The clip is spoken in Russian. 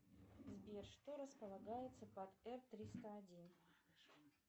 сбер что располагается под р триста один